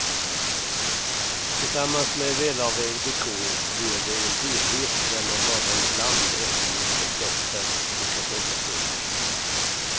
Tillsammans med välavvägd dekor ger det en helhet, där man bara ibland efterlyser bättre mikrofonplaceringar.